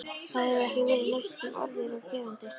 Það hefur ekki verið neitt sem orð er á gerandi.